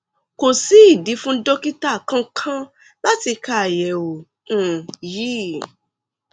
kò sí ìdí fún dókítà kankan láti ka àyẹwò um yìí